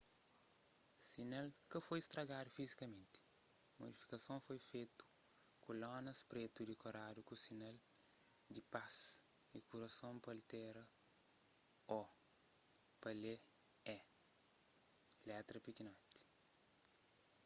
sinal ka foi stragadu fizikamenti modifikason foi fetu ku lonas pretu dikoradu ku sinal di pas y kurason pa altera o pa lê e letra pikinoti